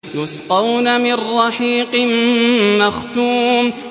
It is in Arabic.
يُسْقَوْنَ مِن رَّحِيقٍ مَّخْتُومٍ